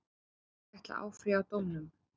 Serbar ætla að áfrýja dómnum.